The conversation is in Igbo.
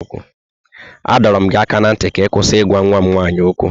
A dọọrọ m gị aka ná ntị ka ị kwụsị ịgwa nwa m nwaanyị okwu!